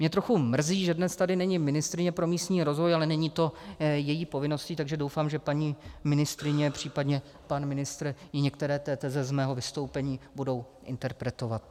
Mě trochu mrzí, že dnes tady není ministryně pro místní rozvoj, ale není to její povinností, takže doufám, že paní ministryně, případně pan ministr jí některé teze z mého vystoupení budou interpretovat.